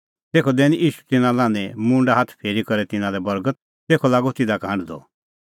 तेखअ दैनी ईशू तिन्नां लान्हें मुंडै हाथ फेरी करै तिन्नां लै बर्गत तेखअ लागअ तिधा का हांढदअ